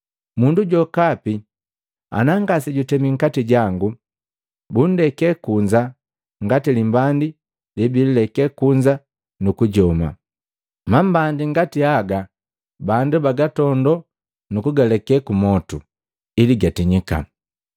Mundu jokapi ana ngasejutemi nkati jangu bundeke kunza ngati limbandi lebileke kunza nukujoma. Mambandi ngati haga bandu bagatondo nukugaleke kumotu ili gatinyika.